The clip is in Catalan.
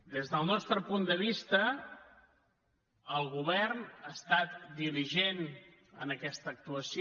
des del nostre punt de vista el govern ha estat diligent en aquesta actuació